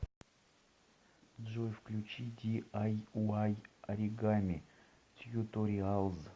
джой включи ди ай уай оригами тьюториалз